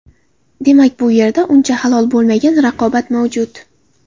Demak, bu yerda uncha halol bo‘lmagan raqobat mavjud!